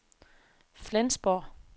Flensborg